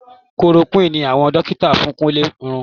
Chloroquine ni àwọn dókítà fún Kúnlé irú